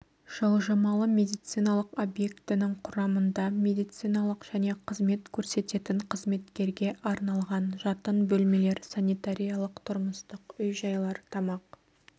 жылжымалы медициналық объектінің құрамында медициналық және қызмет көрсететін қызметкерге арналған жатын бөлмелер санитариялық тұрмыстық үй-жайлар тамақ